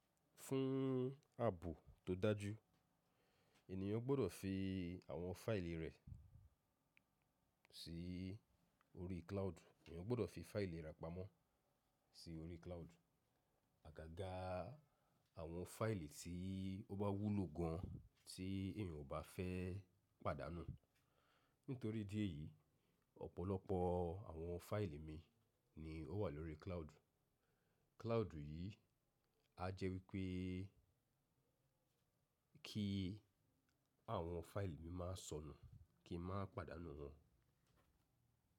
Fún ààbò tó dájú, ènìyàn gbọ́dọ̀ fi àwọn fáìlì rẹ̀ sí orí cloud. Ènìyàn gbọ́dọ̀ fi fáìlì rẹ̀ pamọ́ sí orí cloud. Agága àwọn fáìlì tí ó bá wúlò gan an tí ènìyàn kò bá fẹ́ pàdánù. Nítorí idí ẹ̀yìí, ọ̀pọ̀lọpọ̀ àwọn fáìlì mi ni ó wà lórí cloud. Cloud yìí á jẹ́ wípé kí àwọn fáìlì mi máa sọnù, kí n má pàdánù wọn.